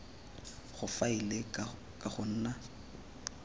go faela ka go nna